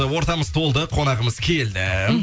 ортамыз толды қонағымыз келді